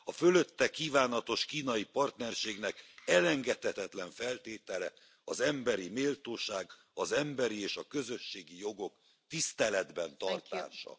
A fölötte kívánatos kínai partnerségnek elengedhetetlen feltétele az emberi méltóság, az emberi és a közösségi jogok tiszteletben tartása.